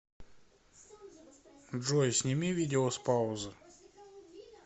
джой сними видео с паузы